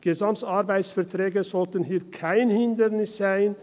Gesamtarbeitsverträge sollten hier kein Hindernis sein.